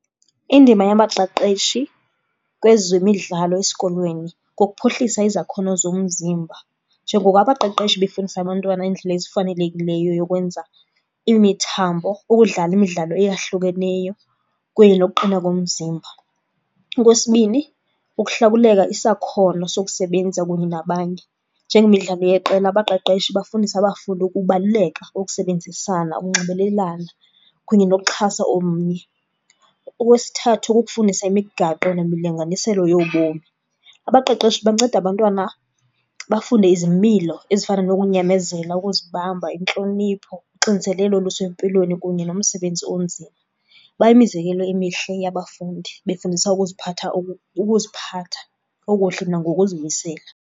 Indima yabaqeqeshi kwezemidlalo esikolweni kukuphuhlisa izakhono zomzimba. Njengoko abaqeqeshi befundisa abantwana iindlela ezifanelekileyo yokwenza imithambo ukudlala imidlalo eyahlukeneyo kunye nokuqina komzimba. Okwesibini, ukuhlakuleka isakhono sokusebenza kunye nabanye. Njengemidlalo yeqela abaqeqeshi bafundisa abafundi ukubaluleka kokusebenzisan,a ukunxibelelana kunye nokuxhasa omnye. Okwesithathu, kukufundisa imigaqo nemilinganiselo yobomi. Abaqeqeshi banceda abantwana bafunde izimilo ezifana nokunyamezela, ukuzibamba, intlonipho, uxinzelelo olusempilweni kunye nomsebenzi onzima. Bayimizekelo emihle yabafundi, befundisa ukuziphatha , ukuziphatha okuhle nangokuzimisela.